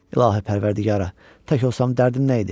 İlahi, pərvərdigara, tək olsam dərdim nə idi?